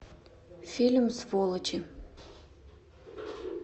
фильм сволочи